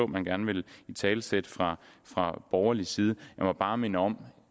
man gerne vil italesætte fra borgerlig side jeg må bare minde om